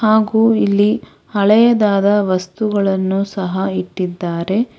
ಹಾಗು ಇಲ್ಲಿ ಹಳೆಯದಾದ ವಸ್ತುಗಳನ್ನು ಸಹ ಇಟ್ಟಿದ್ದಾರೆ.